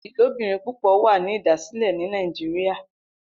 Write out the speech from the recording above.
Ilobirin pupọ wa ni idasilẹ ni Nàìjíríà.